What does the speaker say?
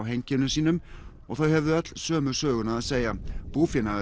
heimkynnum sínum og þau höfðu öll sömu söguna að segja